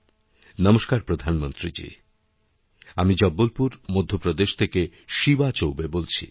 নমস্কার প্রধানমন্ত্রীজীআমি জব্বলপুর মধ্যপ্রদেশ থেকে শিবা চৌবে বলছি